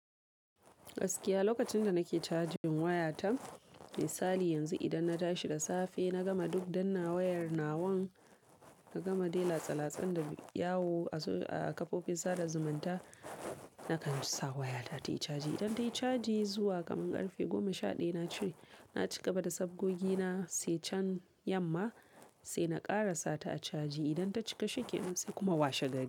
Gaskiya lokacin da nake cajin wayata, misali yanzu idan na tashi da safe, na gama duk danna wayar nawan, na gama dela tsala-tsan da yawo a kafofin sada zumunta nakan ci sa wayata tayi caji. Idan tayi, caji zuwa kaman karfe goma sha ɗaya, na ci-- na cika bada sabgogi na, sai can yamma sai na ƙara sata a caji. Idan ta cika shi ke nan, sai kuma washe gari.